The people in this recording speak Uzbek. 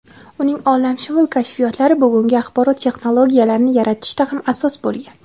Uning olamshumul kashfiyotlari bugungi axborot texnologiyalarini yaratishda ham asos bo‘lgan.